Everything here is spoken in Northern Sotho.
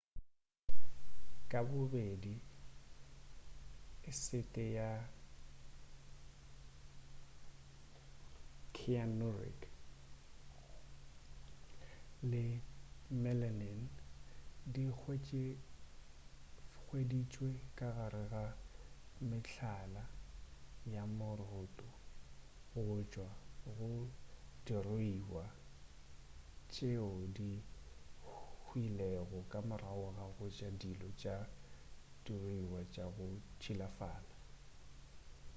ka bobedi esete ya cyanuric le melamine di hweditšwe ka gare ga mehlala ya moroto go tšwa go diruiwa tšweo di hwilego ka morago ga ja dijo tša diruiwa tša go tšilafala